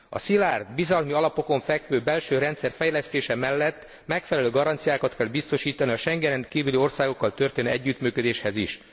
A szilárd, bizalmi alapokon fekvő belső rendszer fejlesztése mellett megfelelő garanciákat kell biztosítani a Schengenen kívüli országokkal történő együttműködéshez is.